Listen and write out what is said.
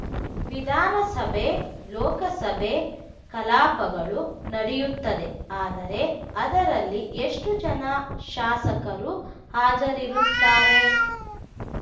ವಿಧಾನಸಭೆ ಲೋಕಸಭೆ ಕಲಾಪಗಳು ನಡೆಯುತ್ತದೆ ಆದರೆ ಅದರಲ್ಲಿ ಎಷ್ಟುಜನ ಶಾಸಕರು ಹಾಜರಿರುತ್ತಾರೆ